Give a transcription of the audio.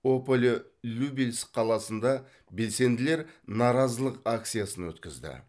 ополе любельск қаласында белсенділер наразылық акциясын өткізді